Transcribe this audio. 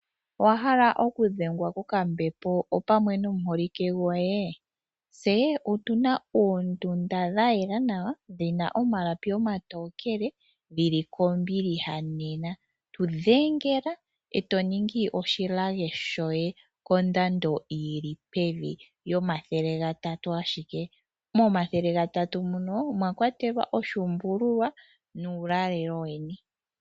Owahala oku dhengwa kokambepo opamwe nomuholike goye? Tse otuna oondunda dhayela nawa dhina omalapi omatokele dhili kombiliha, tu dhengela e totu ningi oshilage shoye kondamdo yili pevi komathele gatatu ashike, nomathele gatatu muno omwa kwatelwa oshuumbululwa nuulalelo weni.